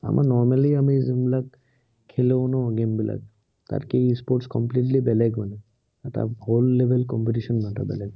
আমাৰ normally আমি যোন বিলাক খেলো ন game বিলাক, তাতকৈ e-sports completely বেলেগ মানে এটা world level competition এটা বেলেগ।